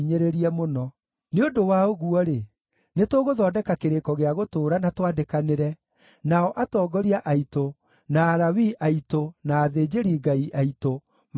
“Nĩ ũndũ wa ũguo-rĩ, nĩtũgũthondeka kĩrĩko gĩa gũtũũra na twandĩkanĩre, nao atongoria aitũ, na Alawii aitũ na athĩnjĩri-Ngai aitũ makĩhũũre mũhũũri.”